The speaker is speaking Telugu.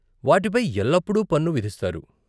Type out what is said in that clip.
వాటిపై ఎల్లప్పుడూ పన్ను విధిస్తారు.